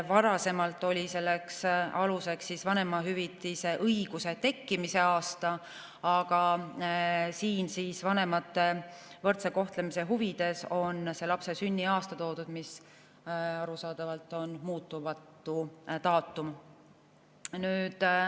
Varasemalt oli selleks aluseks vanemahüvitise õiguse tekkimise aasta, aga vanemate võrdse kohtlemise huvides on siia toodud see lapse sünniaasta, mis arusaadavalt on muutumatu daatum.